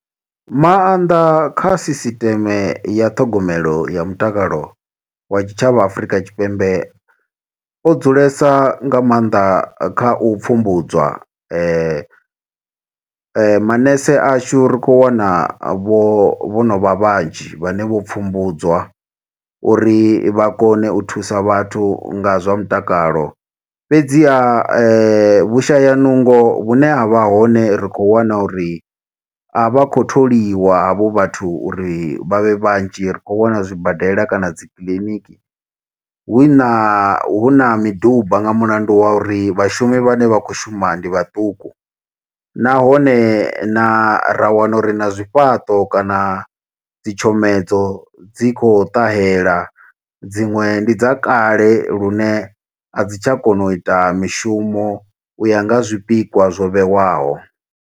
Maanḓa kha sisiteme ya ṱhogomelo ya mutakalo wa tshitshavha Afrika Tshipembe, o dzulesa nga maanḓa kha u pfhumbudzwa. Manese ashu ri khou wana vho vho no vha vhanzhi, vhane vho pfhumbudzwa, uri vha kone u thusa vhathu nga zwa mutakalo. Fhedziha vhushaya nungo vhune havha hone ri khou wana uri, a vha khou tholiwa havho vhathu, uri vha vhe vhanzhi. Ri khou wana zwibadela kana dzi kiḽiniki, hu na hu na miduba nga mulandu wa uri vhashumi vhane vha khou shuma ndi vhaṱuku. Nahone na ra wana uri na zwifhaṱo, kana dzitshomedzo dzi khou ṱahela, dziṅwe ndi dza kale lune a dzi tsha kona u ita mishumo. U ya nga ha zwipikwa zwo vheiwaho.